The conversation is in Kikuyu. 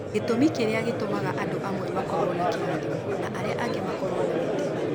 Gĩtũmi kĩrĩa gĩtũmaga andũ amwe makorũo na kĩrathimo, na arĩa angĩ makorũo na mĩtinũ.